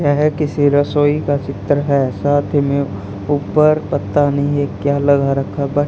यह किसी रसोई का चित्र है साथ ही में ऊपर पता नहीं ये क्या लगा रखा बट --